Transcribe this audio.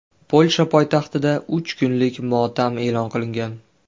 Polsha poytaxtida uch kunlik motam e’lon qilingan.